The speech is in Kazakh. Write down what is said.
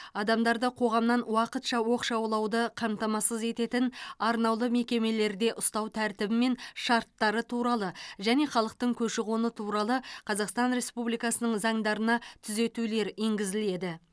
адамдарды қоғамнан уақытша оқшаулауды қамтамасыз ететін арнаулы мекемелерде ұстау тәртібі мен шарттары туралы және халықтың көші қоны туралы қазақстан республикасының заңдарына түзетулер енгізіледі